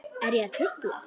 Er ég að trufla?